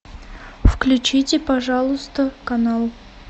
включите пожалуйста канал